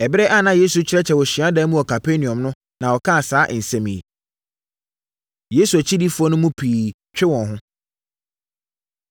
Ɛberɛ a na Yesu rekyerɛkyerɛ wɔ hyiadan mu wɔ Kapernaum no na ɔkaa saa nsɛm yi. Yesu Akyidifoɔ No Mu Pii Twe Wɔn Ho